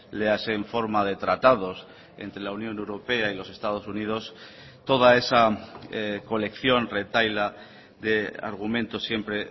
léase en forma de tratados entre la unión europea y los estados unidos toda esa colección retahíla de argumentos siempre